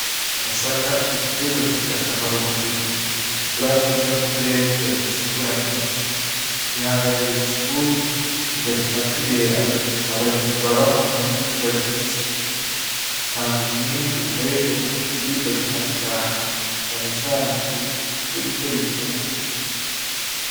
Amasaka ni igiterwa c'ingirakamaro mu burimyi ikura neza mu turere tudafise imvura nyinshi, vyihanganira ubushuhe bigatuma kibera abarimyi baba ahari izuba ryinshi itanga umwimbu ukoreshwa mu biribwa bitandukanye cane cane ifu yo gukora infungurwa.